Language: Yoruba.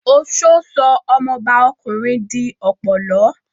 Oṣó sọ ọmọbá ọkùnrin di ọ̀pọ̀lọ́